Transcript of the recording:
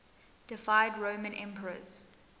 deified roman emperors